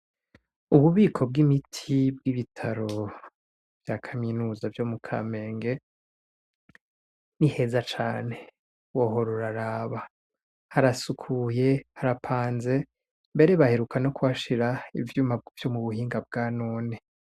Ububiko bw'imiti bw'ibitaro vya kaminuza vyo mu Kamenge ni heza cane wohora uraraba, harasukuye, harapanze, mbere baheruka no kuhashira ivyuma vyo mu buhinga bwanone.